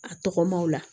A tɔgɔmaw la